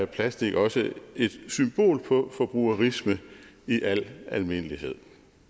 plastik også et symbol på forbrugerisme i al almindelighed